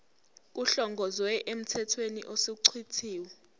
kuhlongozwe emthethweni osuchithiwe